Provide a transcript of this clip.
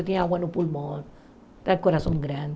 Eu tinha água no pulmão, coração grande.